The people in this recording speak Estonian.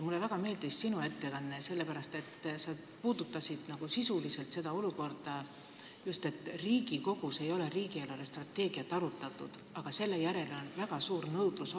Mulle väga meeldis ka sinu ettekanne, sest sa puudutasid sisuliselt seda, et Riigikogus ei ole riigi eelarvestrateegiat arutatud, aga selle järele on väga suur nõudlus.